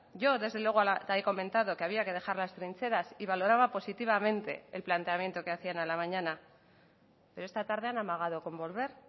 yo desde luego he comentado que había que dejar las trincheras y valoraba positivamente el planteamiento que hacían a la mañana pero esta tarde han amagado con volver